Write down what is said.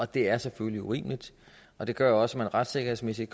det er selvfølgelig urimeligt og det gør jo også at man retssikkerhedsmæssigt